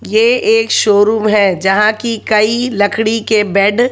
ये एक शोरूम है जहां की कई लकड़ी के बेड --